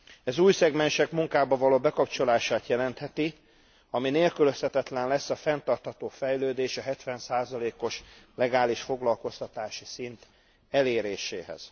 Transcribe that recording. Ez új szegmensek munkába való bekapcsolását jelentheti, ami nélkülözhetetlen lesz a fenntartható fejlődés, a 70 os legális foglalkoztatási szint eléréséhez.